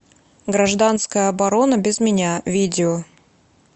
гражданская оборона без меня видео